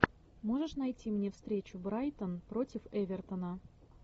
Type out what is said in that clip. можешь найти мне встречу брайтон против эвертона